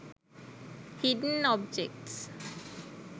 hidden objects